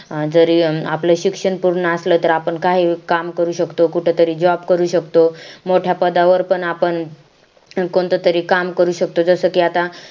जरी आपण आपलं शिक्षण पूर्ण असलं तर आपण काही काम करू शकतो कुठं तरी JOB करू शकतो मोठ्या पदावर पण आपण कोणतं तरी काम करू शकतो जसं कि आता